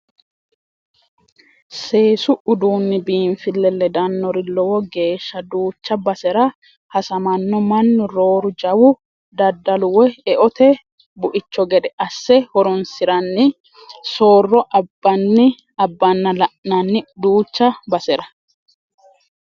Seesu uduuni biinfile ledanori lowo geeshsha duucha basera hasamano mannu rooru jawu daddalu woyi eote buicho gede asse horonsiranni soorro abbanna la'nanni duucha basera.